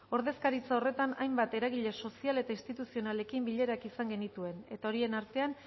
ordezkaritza horretan hainbat eragile sozial eta instituzionalekin bilerak izan genituen eta horien artean